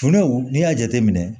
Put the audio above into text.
Tunaw n'i y'a jateminɛ